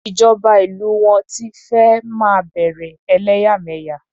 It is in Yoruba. Ìjọba ìlú wọn ti fẹ́ máa bẹ̀rè ẹlẹ́yàmẹ̀yà.